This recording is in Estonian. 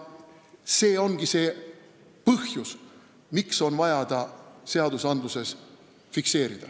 See ongi see põhjus, miks on vaja ta seaduses fikseerida.